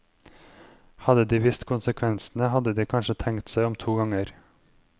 Hadde de visst konsekvensene hadde de kanskje tenkt seg om to ganger.